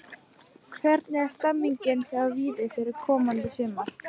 Hvernig er stemningin hjá Víði fyrir komandi sumar?